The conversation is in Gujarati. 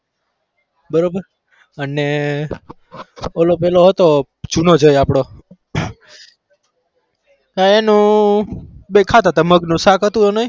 બરોબર અને ઓલો પેલો હતો જુનો જય આપડો તો એનું બે ખાતા હતા મગનું શાક હતું એને.